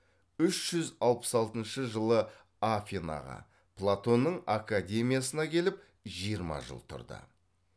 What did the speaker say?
үш жүз алпыс алтыншы жылы афинаға платонның академиясына келіп жиырма жыл тұрды